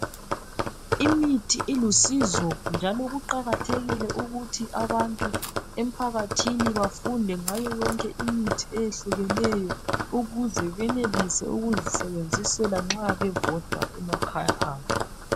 Imithi ilusizo njalo kuqakathekile ukuthi abantu emphakathini bafunde ngayo yonke imithi eyehlukeneyo ukuze bayenelise ukuzisebenzisela nxa bebodwa emakhaya abo.